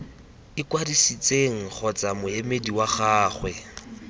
ikwadisitseng kgotsa moemedi wa gagwe